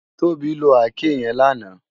Tobi ló àké yèn làná